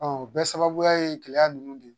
o bɛɛ sababuya ye gɛlɛya ninnu de ye